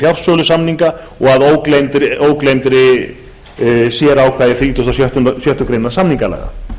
fjarsölusamninga og að ógleymdu sérákvæði þrítugasta og sjöttu grein samningalaga